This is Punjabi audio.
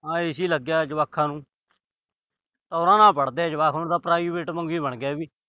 ਹਾਂ। AC ਲੱਗਿਆ ਜਵਾਕਾਂ ਨੂੰ। ਟੌਰਾ ਨਾਲ ਪੜ੍ਹਦੇ ਆ ਜਵਾਕ, ਹੁਣ ਤਾਂ private ਵਾਂਗ ਹੀ ਬਣ ਗਿਆ।